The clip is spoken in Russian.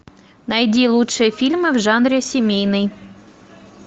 найди лучшие фильмы в жанре семейный